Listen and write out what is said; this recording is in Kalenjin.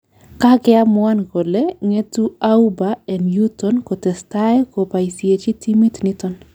Kakeamuan kole ngetu Auba en yuton kotestai kobaisiechi timit niton